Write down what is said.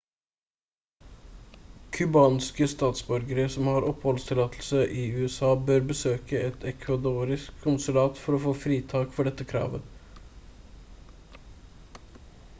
cubanske statsborgere som har oppholdstillatelse i usa bør besøke et ecuadoriansk konsulat for å få fritak for dette kravet